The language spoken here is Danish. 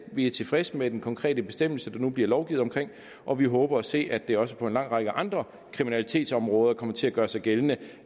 vi er tilfredse med den konkrete bestemmelse der nu bliver lovgivet om og vi håber at se at det også på en lang række andre kriminalitetsområder kommer til at gøre sig gældende